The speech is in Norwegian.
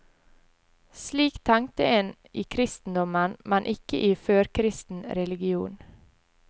Slik tenkte en i kristendommen, men ikke i førkristen religion.